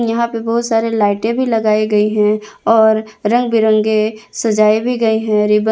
यहां पे बहुत सारे लाइटें भी लगाई गई हैं और रंग बिरंगे सजाये भी गए हैं रिब--